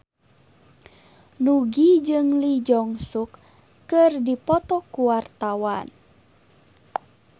Nugie jeung Lee Jeong Suk keur dipoto ku wartawan